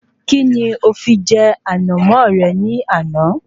Kí ni o fi jẹ Ànàmó rẹ ní àná?